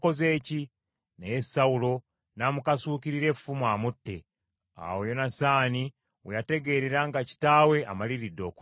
Naye Sawulo n’amukasuukirira effumu amutte. Awo Yonasaani we yategeerera nga kitaawe amaliridde okutta Dawudi.